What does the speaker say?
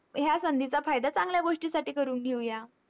ह्या संधीचा फायदा चांगल्या गोष्टींसाठी करून घेऊया.